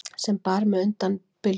sem bar mig undan bylgju